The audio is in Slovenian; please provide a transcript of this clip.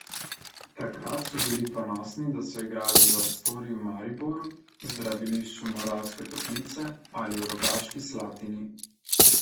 Takrat so bili ponosni, da so igrali v Astoriji v Mariboru, zdravilišču Moravske toplice ali v Rogaški Slatini.